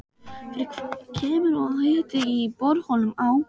Fyrir kemur og að hiti í borholum á